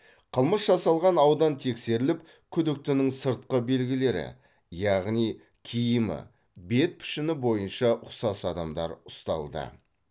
қылмыс жасалған аудан тексеріліп күдіктінің сыртқы белгілері яғни киімі бет пішіні бойынша ұқсас адамдар ұсталды